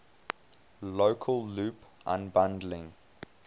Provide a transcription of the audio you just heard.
local loop unbundling